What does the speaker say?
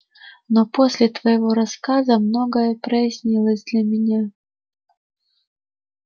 но после твоего рассказа многое прояснилось для меня